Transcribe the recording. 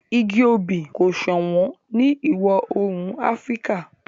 igi obì kò sọ̀wọ́n ní ìwọ̀-oòrùn áfríkà